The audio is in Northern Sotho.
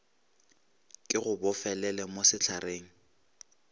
ke go bofelele mo sehlareng